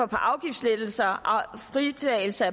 på afgiftslettelser og fritagelse